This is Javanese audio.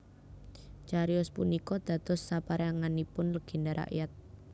Cariyos punika dados saperanganipun legenda rakyat